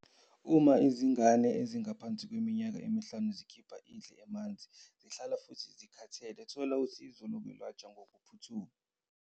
Uma izingane ezingaphansi kweminyaka emihlanu zikhipha indle emanzi, zihlanza futhi zihlala zikhathele, thola usizo lokwelashwa ngokuphuthuma.